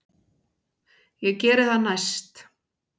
Ég geri það næst.